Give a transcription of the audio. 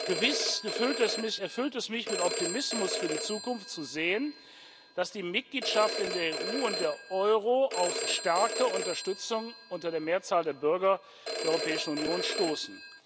Gewiss erfüllt es mich mit Optimismus für die Zukunft, zu sehen, dass die Mitgliedschaft in der EU und der Euro auf starke Unterstützung unter der Mehrzahl der Bürger der Europäischen Union stoßen.